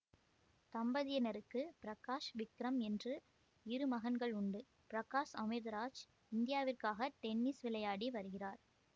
தம்பதியினருக்கு பிரகாஷ் விக்ரம் என்று இரு மகன்கள் உண்டு பிரகாஷ் அமிர்தராஜ் இந்தியாவிற்காக டென்னிஸ் விளையாடி வருகிறார்